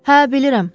"Hə, bilirəm.